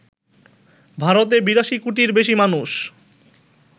ভারতে ৮২ কোটির বেশি মানুষ